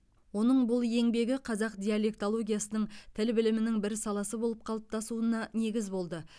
оның бұл еңбегі қазақ диалектологиясының тіл білімінің бір саласы болып қалыптасуына негіз болды